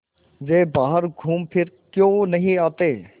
वे बाहर घूमफिर क्यों नहीं आते